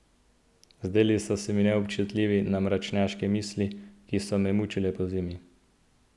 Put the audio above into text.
Zdeli so se mi neobčutljivi na mračnjaške misli, ki so me mučile pozimi.